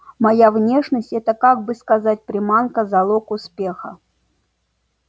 моя внешность это как бы сказать приманка залог успеха